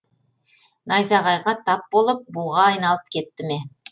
найзағайға тап болып буға айналып кетті ме